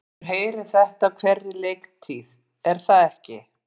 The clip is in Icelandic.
Maður heyrir þetta á hverri leiktíð er það ekki?